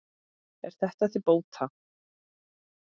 Er þetta til bóta.